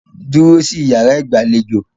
Dúró sí iyàrá ìgbàlejò!